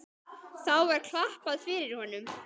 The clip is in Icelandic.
Þá var klappað fyrir honum.